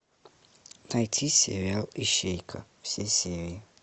найти сериал ищейка все серии